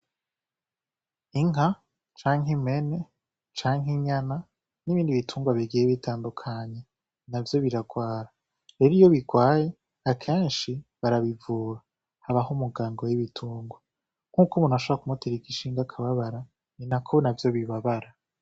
Inka canke impene canke inyana n' ibindi bitungwa bigiye bitandukanye navyo biragwara, rero iyo bigwaye akenshi barabivura habaho umuganga w'ibitungwa, nkuko umuntu ushobora kumutera igishinge akababara ninako navyo bibabara.